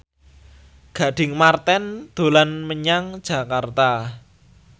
Gading Marten dolan menyang Jakarta